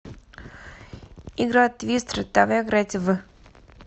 игра твистер давай играть в